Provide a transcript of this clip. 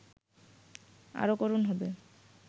আরও করুণ হবে